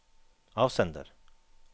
avsender